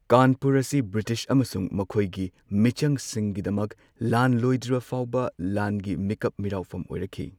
ꯀꯥꯟꯄꯨꯔ ꯑꯁꯤ ꯕ꯭ꯔꯤꯇꯤꯁ ꯑꯃꯁꯨꯡ ꯃꯈꯣꯏꯒꯤ ꯃꯤꯆꯪꯁꯤꯡꯒꯤꯗꯃꯛ ꯂꯥꯟ ꯂꯣꯏꯗ꯭ꯔꯤꯕ ꯐꯥꯎꯕ ꯂꯥꯟꯒꯤ ꯃꯤꯀꯞ ꯃꯤꯔꯥꯎꯐꯝ ꯑꯣꯏꯔꯛꯈꯤ꯫